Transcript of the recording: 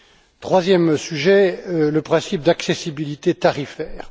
Le troisième sujet est le principe de l'accessibilité tarifaire.